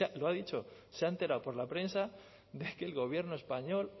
lo ha dicho se ha enterado por la prensa de que el gobierno español